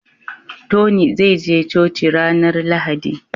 Tony zai je coci ranar lahadi